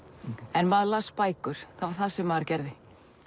en maður las bækur það var það sem maður gerði